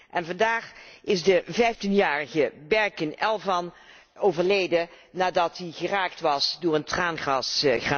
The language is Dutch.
En vandaag is de vijftienjarige Berkin Elvan overleden nadat hij geraakt was door een traangasgranaat.